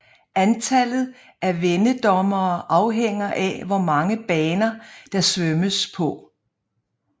Antallet af vendedommere afhænger af hvor mange baner der svømmes på